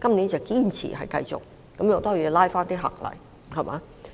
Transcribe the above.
今年堅持繼續，也可拉回一些旅客。